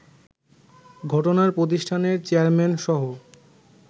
ঘটনায় প্রতিষ্ঠানের চেয়ারম্যানসহ